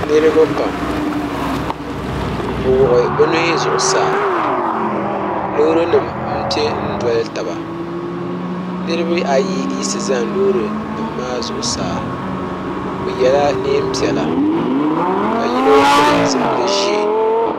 niriba pam bɛ wuɣi bɛ nuhi zuɣusaa loori nima m-pe doli taba niriba ayi yiɣisi zani loori nima zuɣusaa bɛ yela neen' piɛla ka yino pili zupil' ʒe.